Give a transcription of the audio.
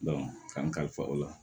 k'an kalifa o la